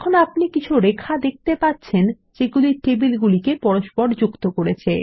এখন আপনি কিছু রেখা দেখতে পাচ্ছেন যেগুলি টেবিলগুলিকে যুক্ত করেছে